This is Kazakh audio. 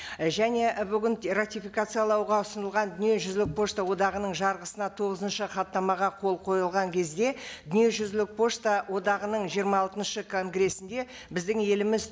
і және і бүгін ратификациялауға ұсынылған дүниежүзілік пошта одағының жарғысына тоғызыншы хаттамаға қол қойылған кезде дүниежүзілік пошта одағының жиырма алтыншы конгрессінде біздің еліміз